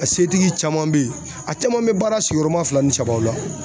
A setigi caman be yen a caman be baara sigiyɔrɔma fila ni saba la